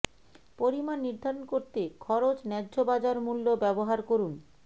পরিমাণ নির্ধারণ করতে খরচ ন্যায্য বাজার মূল্য ব্যবহার করুন